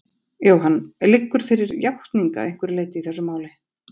Jóhann: Liggur fyrir játning að einhverju leyti í þessu máli?